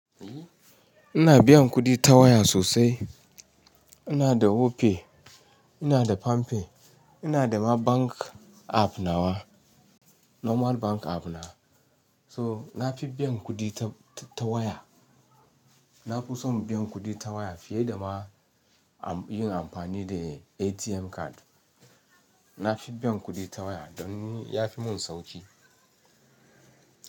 Ina biyan kuɗi ta waya sosai. Ina da Opay, ina da PamPay, ina da ma bank app na wawa, normal bank app na. So nafi biyan kuɗi ta, ta waya. Nafi son biyan kuɗi ta waya fiye dama yin amfani da ATM card. Nafi biyan kuɗi ta waya don ni yafi mun sauƙi.